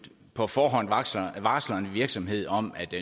på forhånd varsler varsler en virksomhed om at